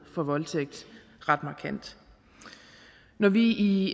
for voldtægt ret markant når vi i